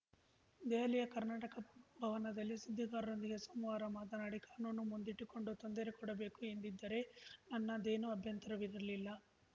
ದೆಹಲಿಯ ಕರ್ನಾಟಕ ಭವನದಲ್ಲಿ ಸುದ್ದಿಗಾರರೊಂದಿಗೆ ಸೋಮವಾರ ಮಾತನಾಡಿ ಕಾನೂನು ಮುಂದಿಟ್ಟುಕೊಂಡು ತೊಂದರೆ ಕೊಡಬೇಕು ಎಂದಿದ್ದರೆ ನನ್ನದೇನೂ ಅಭ್ಯಂತರವಿರಲಿಲ್ಲ